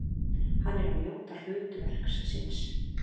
Hann er að njóta hlutverks síns.